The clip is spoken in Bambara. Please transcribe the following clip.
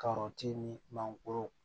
Kɔrɔti ni mangoro